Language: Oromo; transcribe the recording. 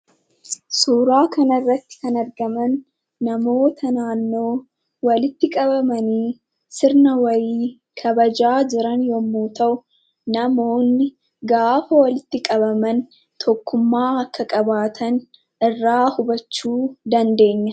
Suuraa kanarratti kan argaman namoota naannoo walitti qabamanii sirna wayii kabajaa jiran yommuu ta'u, namoonni gaafa walitti qabaman tokkummaa akka qabaatan irraa hubachuu dandeenya.